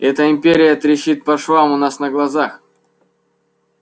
эта империя трещит по швам у нас на глазах